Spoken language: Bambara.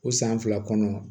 O san fila kɔnɔ